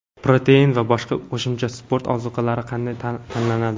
Protein va boshqa qo‘shimcha sport ozuqalari qanday tanlanadi?.